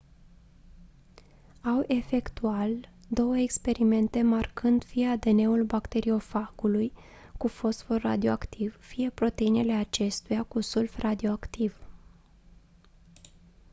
au efectual două experimente marcând fie adn-ul bacteriofagului cu fosfor radioactiv fie proteinele acestuia cu sulf radioactiv